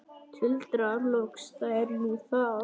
Tuldra loks: Það er nú það.